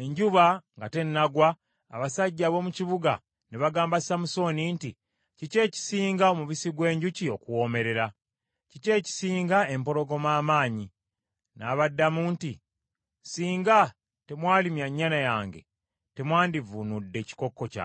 enjuba nga tennagwa abasajja ab’omu kibuga ne bagamba Samusooni nti, “Kiki ekisinga omubisi gw’enjuki okuwoomerera? Kiki ekisinga empologoma amaanyi?” N’abaddamu nti, “Singa temwalimya nnyana yange, temwandivuunudde kikokko kyange.”